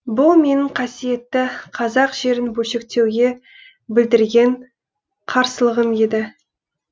бұл менің қасиетті қазақ жерін бөлшектеуге білдірген қарсылығым еді